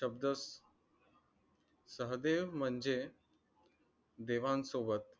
शब्द सहदेव म्हणजे देवा सोबत